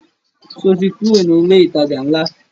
Sọ ti kúrò ní ilé ìtajà ńlá?